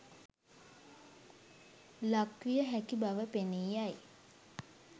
ලක්විය හැකි බව පෙනී යයි.